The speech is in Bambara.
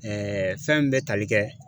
fɛn min bɛ tali kɛ